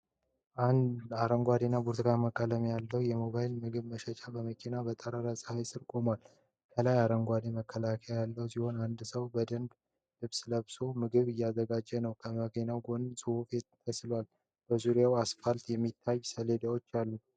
አረንጓዴ እና ብርቱካንማ ቀለም የተቀባ የሞባይል ምግብ መሸጫ መኪና በጠራራ ፀሐይ ስር ቆሟል። ከላይ አረንጓዴ መከለያ ያለው ሲሆን፣ አንድ ሰው የደንብ ልብስ ለብሶ ምግቦችን እያዘጋጀ ነው። የመኪናው ጎን ጽሑፍ ተስሏል። በዙሪያው አስፋልትና የማስታወቂያ ሰሌዳዎች አሉ።